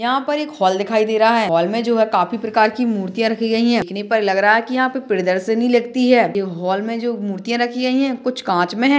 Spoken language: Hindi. यहाँ पर एक हाॅल दिखाई दे रहा है हाॅल मे जो हे काफी प्रकार की मूर्तिया रखी गयी है देखने पर लग रहा हे की यहा प्रियदर्शनी लगती है हाॅल मे जो मूर्तिया रखी गई है कुछ कांच मे है।